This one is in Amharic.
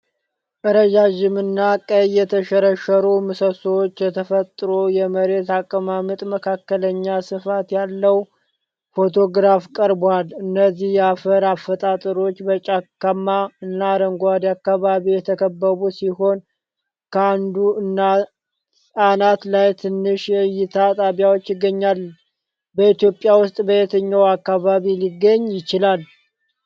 ረጃጅም እና ቀይ የተሸረሸሩ ምሰሶዎች የተፈጥሮ የመሬት አቀማመጥ መካከለኛ ስፋት ያለው ፎቶግራፍ ቀርቧል። እነዚህ የአፈር አፈጣጠሮች በጫካማ እና አረንጓዴ አካባቢ የተከበቡ ሲሆን ከአንዱ አናት ላይ ትንሽ የእይታ ጣቢያ ይገኛል። በኢትዮጵያ ውስጥ በየትኛው አካባቢ ሊገኝ ይችላል?